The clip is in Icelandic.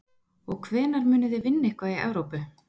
Og hvenær munið þið vinna eitthvað í Evrópu?